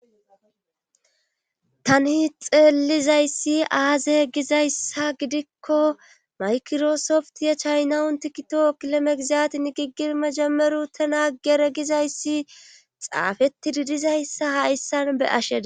tani xeelizayssi aazey gizayssa gidikko maykiroosoft ya chaynawun tikito kilomegizatin giggir majameru tanaagere gizayssi xaafeti didizayssa ha issan be asheda